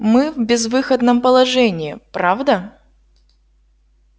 мы в безвыходном положении правда